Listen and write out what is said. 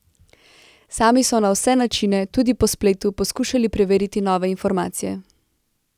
Sami so na vse načine, tudi po spletu, poskušali preveriti nove informacije.